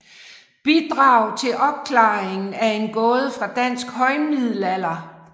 Bidrag til opklaringen af en gåde fra dansk højmiddelalder